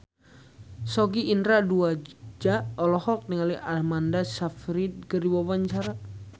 Sogi Indra Duaja olohok ningali Amanda Sayfried keur diwawancara